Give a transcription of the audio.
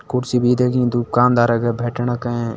कुर्सी भी दुकानदारा का भेंटण के।